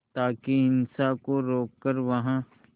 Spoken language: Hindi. ताकि हिंसा को रोक कर वहां